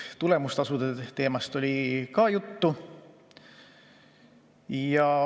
Tulemustasude teemast oli ka juttu.